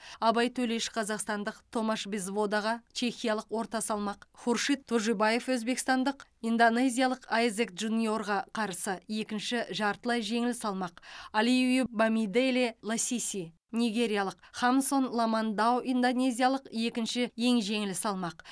абай төлеш қазақстандық томаш безводаға чехиялық орта салмақ хуршид тожибаев өзбекстандық индонезиялық айзек джуниорға қарсы екінші жартылай жеңіл салмақ алиу бамиделе ласиси нигериялық хамсон ламандау индонезиялық екінші ең жеңіл салмақ